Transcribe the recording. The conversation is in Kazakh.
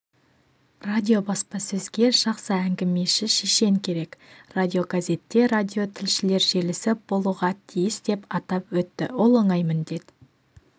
радиобаспасөзге жақсы әңгімеші шешен керек радиогазетте радиотілшілер желісі болуға тиіс деп атап өтті ол оңай міндет